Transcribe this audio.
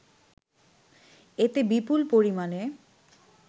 এতে বিপুল পরিমাণে